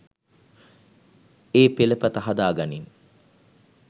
ඒ පෙළපත හදා ගනින්.